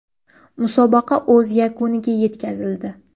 Musobaqa o‘z yakuniga yetkazildi.